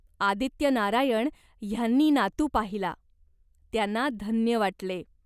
आदित्यनारायण ह्यांनी नातू पाहिला. त्यांना धन्य वाटले.